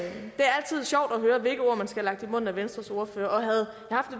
høre hvilke ord man skal have lagt i munden af venstres ordfører og havde